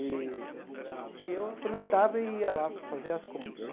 E eu aproveitava e ia lá fazer as compras.